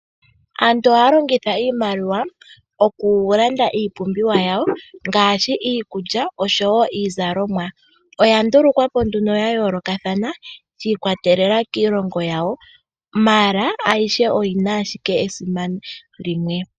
Aantu ohaya longitha iimaliwa okulanda iipumbiwa yawo ngaashi iikulya oshowo iizalomwa. Oya ndulukwa po nduno ya yoolokathana shi ikwatelela kiilongo yawo, ashike ayihe oyi na owala esimano limwe.